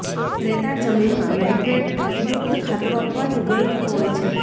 રેતાળ જમીનમાં નાઇટ્રેટયુક્ત ખાતરો આપવાથી વ્યય થતો હોય છે